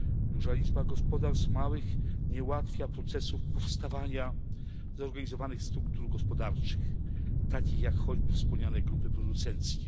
Duża liczba małych gospodarstw nie ułatwia procesów powstawania zorganizowanych struktur gospodarczych, takich jak choćby wspomniane grupy producenckie.